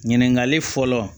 Ɲininkali fɔlɔ